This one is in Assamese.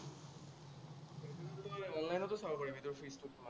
অনলাইনতো চাব পাৰি তোৰ ফিজটো কিমান।